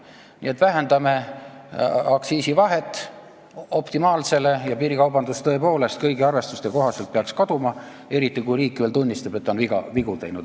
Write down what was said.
Nii et vähendame aktsiisivahe optimaalsele tasemele ja piirikaubandus peaks tõepoolest kõigi arvestuste kohaselt kaduma, eriti kui riik veel tunnistab, et ta on vigu teinud.